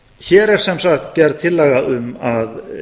hér er sem sagt gerð tillaga um að